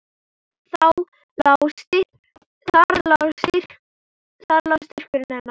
Þar lá styrkur hennar.